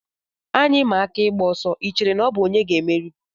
Anyị maa aka ịgba ọsọ, I chere na ọ bụ onye ga-emeri?